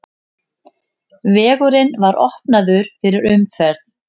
Vegurinn var opnaður fyrir umferð.